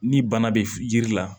Ni bana bɛ yiri la